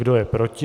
Kdo je proti?